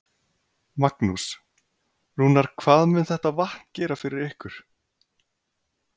Magnús: Rúnar, hvað mun þetta vatn gera fyrir ykkur?